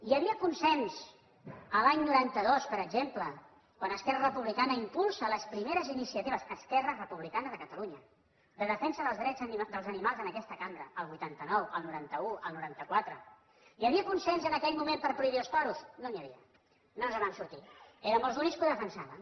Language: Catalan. hi havia consens a l’any noranta dos per exemple quan esquerra republicana impulsa les primeres iniciatives esquerra republicana de catalunya de defensa dels drets dels animals en aquesta cambra el vuitanta nou el noranta un el noranta quatre hi havia consens en aquell moment per prohibir els toros no n’hi havia no ens en vam sortir érem els únics que ho defensàvem